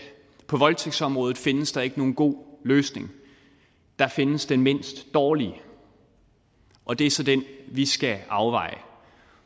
på voldtægtsområdet findes der ikke nogen god løsning der findes den mindst dårlige og det er så den vi skal afveje